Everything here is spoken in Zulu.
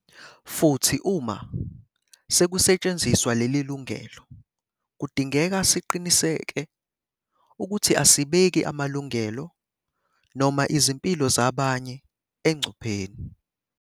Futhi uma sekusetshenziswa leli lungelo, kudingeka siqiniseke ukuthi asibeki amalungelo noma izimpilo zabanye engcupheni.